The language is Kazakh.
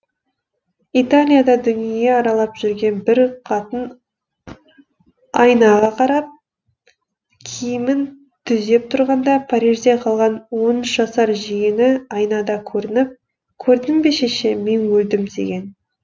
италияда дүние аралап жүрген бір қатын айнаға қарап киімін түзеп тұрғанда парижде қалған он үш жасар жиені айнада көрініп көрдің бе шеше мен өлдім деген